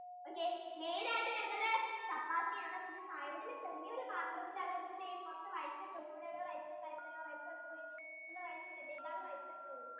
oaky main ആയിട്ടു വരുന്നത് chappathi ആണ് side ഇല് ചെറിയ ഒരു പാത്രത്തിൽ ആണ് ഇവര് കുറച്ചു rice ഇട്ടു കൊടുക്കും ഇവിടെ ഒരു rice ഉണ്ടായിരുന്നാലോ rice എവിടെപ്പോയി ഇവിടെ rice ഉണ്ടാലോ ഇതാണ് rice